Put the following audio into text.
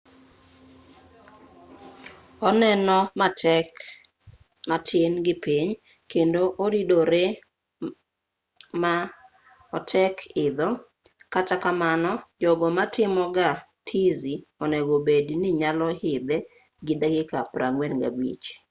oneno matek matin gi piny kendo oridoree ma otek idho kata kamano jogo matimo ga tizi onego obed ni nyalo idhe gi dakika 45